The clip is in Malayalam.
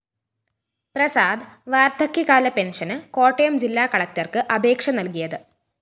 പ്രസാദ് വാര്‍ദ്ധക്യകാല പെന്‍ഷന് കോട്ടയം ജില്ലാ കളക്ടര്‍ക്ക് അപേക്ഷ നല്‍കിയത്